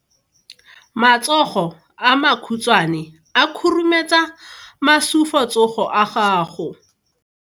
Matsogo a makhutshwane a khurumetsa masufutsogo a gago.